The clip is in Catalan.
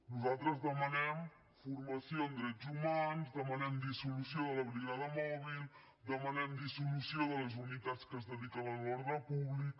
nosaltres demanem formació en drets humans demanem dissolució de la brigada mòbil demanem dissolució de les unitats que es dediquen a l’ordre públic